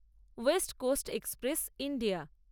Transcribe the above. West coast express India